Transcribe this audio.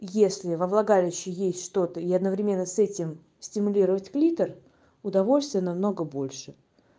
если во влагалище есть что-то и одновременно с этим стимулировать клитор удовольствие намного больше